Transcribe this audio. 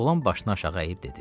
Oğlan başını aşağı əyib dedi.